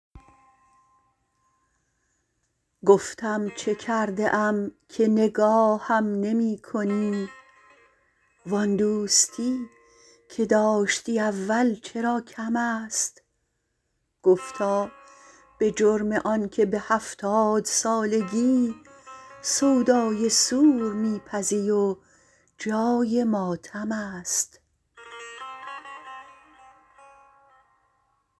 گفتم چه کرده ام که نگاهم نمی کنی وآن دوستی که داشتی اول چرا کم است گفتا به جرم آنکه به هفتاد سالگی سودای سور می پزی و جای ماتم است